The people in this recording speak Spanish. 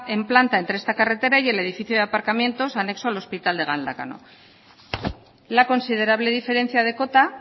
en planta entre esta carretera y el edificio de aparcamientos anexo al hospital de galdácano la considerable diferencia de cota